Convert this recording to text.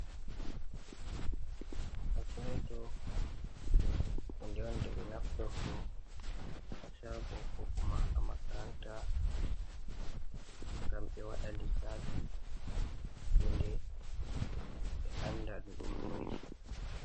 Kalkuleto hunde on nde ɓe naftorto haa shabo ko kuma haa makaranta ngam ɓe waɗa lissafi hunde ɓe anda ɗum noi.